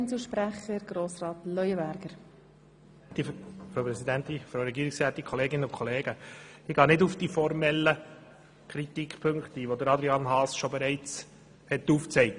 Ich gehe nun nicht auf die formalen Kritikpunkte ein, die Adrian Haas bereits genannt hat.